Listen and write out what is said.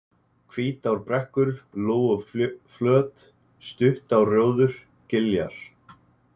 Hvítárbrekkur, Lóuflöt, Stuttárrjóður, Giljar